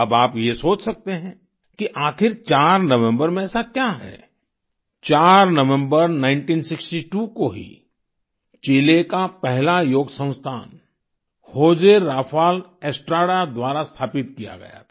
अब आप ये सोच सकते हैं कि आखिर 4 नवम्बर में ऐसा क्या है 4 नवम्बर 1962 को ही चिले का पहला योग संस्थान होज़े राफ़ाल एस्ट्राडा द्वारा स्थापित किया था